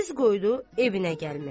Üz qoydu evinə gəlməyə.